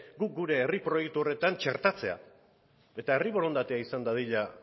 gure herri proiektu horretan txertatzea eta herri borondatea izan dadila